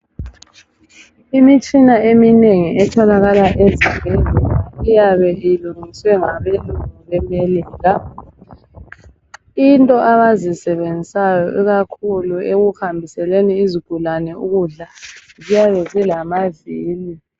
Imitshina eminengi etholakala ezibhedlela iyabe ilungiswe ngabelungu belele njalo into abazisebenzisayo ikakhulu ekuhambiseleni izigulane ukudla ziyabe zilamavili.